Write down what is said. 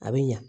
A bɛ ɲa